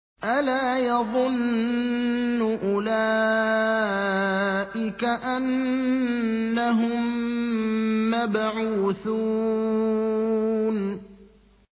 أَلَا يَظُنُّ أُولَٰئِكَ أَنَّهُم مَّبْعُوثُونَ